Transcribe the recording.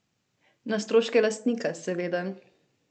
Na stroške lastnika, seveda.